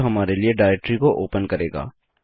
यह हमारे लिए डाइरेक्टरी को ओपन करेगा